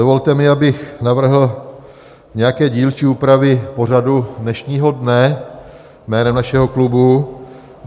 Dovolte mi, abych navrhl nějaké dílčí úpravy pořadu dnešního dne jménem našeho klubu.